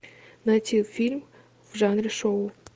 найти фильм в жанре шоу